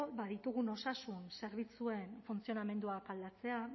ditugun osasun zerbitzuen funtzionamenduak aldatzea